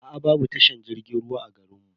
Aa babu tashar jirgin ruwa a garin mu.